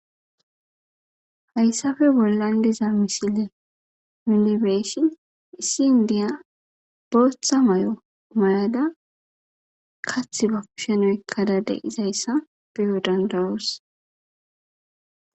Hayssafe bollandiza misile milibeeshin issi indiya bootha may'o mayada kath ba pshenoykkadade izayssa beyo dandawos